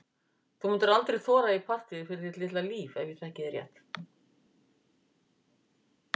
Þú myndir aldrei þora í partíið fyrir þitt litla líf ef ég þekki þig rétt.